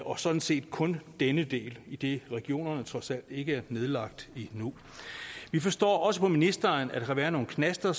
og sådan set kun denne del idet regionerne trods alt ikke er nedlagt endnu vi forstår også på ministeren at der kan være nogle knaster